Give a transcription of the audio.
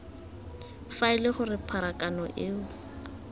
fa ele gore pharakano eo